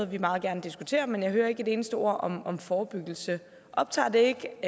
vi meget gerne diskuterer men jeg hører ikke et eneste ord om om forebyggelse optager det ikke